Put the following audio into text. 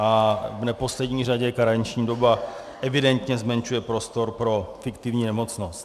A v neposlední řadě karenční doba evidentně zmenšuje prostor pro fiktivní nemocnost.